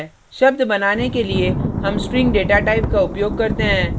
शब्द बनाने के लिए हम string data type का उपयोग करते हैं